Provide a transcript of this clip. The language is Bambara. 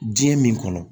Diɲɛ min kɔnɔ